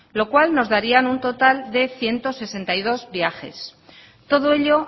lo cual nos daría un total de ciento sesenta y dos viajes todo ello